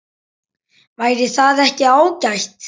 Væri það ekki ágætt?